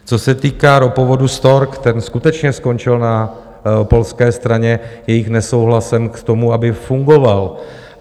Co se týká ropovodu Stork, ten skutečně skončil na polské straně jejich nesouhlasem k tomu, aby fungoval.